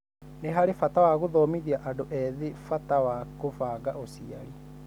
Nĩ harĩ bata wa gũthomithia andũ ethĩ bata wa kũbanga ũciari.